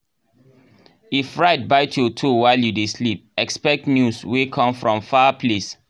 if rat bite your toe while you dey sleep expect news wey come from far place.